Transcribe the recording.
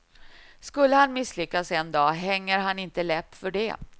Skulle han misslyckas en dag hänger han inte läpp för det.